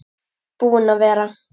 Búinn að vera.